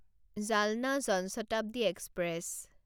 Jalna Jan Shatabdi express